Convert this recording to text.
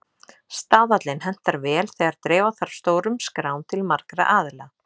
Staðallinn hentar vel þegar dreifa þarf stórum skrám til margra aðila.